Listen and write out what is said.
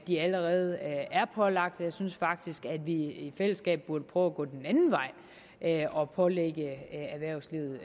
de allerede er pålagt jeg synes faktisk at vi i fællesskab burde prøve at gå den anden vej og pålægge erhvervslivet